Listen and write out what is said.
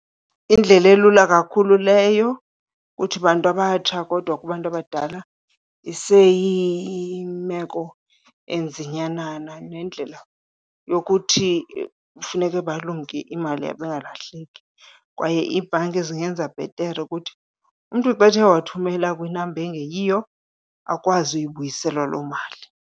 Yindlela elula kakhulu leyo kuthi bantu abatsha, kodwa kubantu abadala iseyimeko enzinyanana nendlela yokuthi kufuneke balumke imali yabo ingalahleki. Kwaye iibhanki zingenza bhetere ukuthi umntu xa ethe wathumela kwinamba engeyiyo akwazi uyibuyiselwa loo mali.